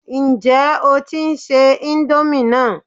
Ǹjẹ́ o tí ń se íńdómì náà?